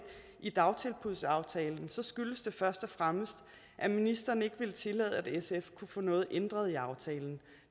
i dagtilbudsaftalen skyldtes det først og fremmest at ministeren ikke ville tillade at sf kunne få noget ændret i aftalen